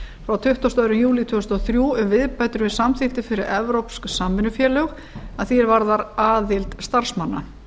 frá tuttugasta og annan júlí tvö þúsund og þrjú um viðbætur við samþykktir fyrir evrópsk samvinnufélög að því er varðar aðild starfsmanna